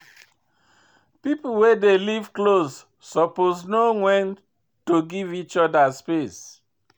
Pipo wey dey live close suppose know wen to give each oda space.